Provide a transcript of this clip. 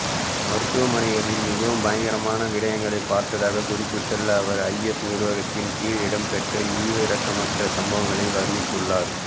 மருத்துவமனைகளில் மிகவும் பயங்கரமான விடயங்களை பார்த்ததாக குறிப்பிட்டுள்ள அவர் ஐஎஸ் நிர்வாகத்தின் கீழ் இடம்பெற்ற ஈவிரக்கமற்ற சம்பவங்களை வர்ணித்துள்ளார்